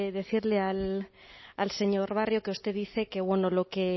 decirle al señor barrio que usted dice que bueno